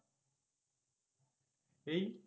এই